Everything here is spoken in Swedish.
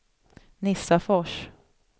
Nissafors